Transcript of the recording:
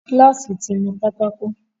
Kíláàsì ti nu pátákó